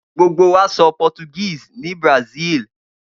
Gbogbo wa sọ Portuguese ní Brazil.